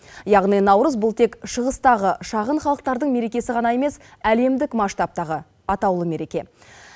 яғни наурыз бұл тек шығыстағы шағын халықтардың мерекесі ғана емес әлемдік масштабтағы атаулы мереке